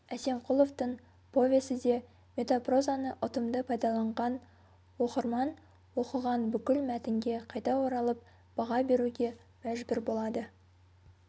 әсемқұловтың повесі де метапрозаны ұтымды пайдаланған оқырман оқыған бүкіл мәтінге қайта оралып баға беруге мәжбүр болады